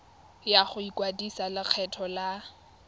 ya go ikwadisetsa lekgetho la